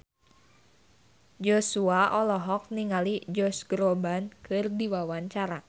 Joshua olohok ningali Josh Groban keur diwawancara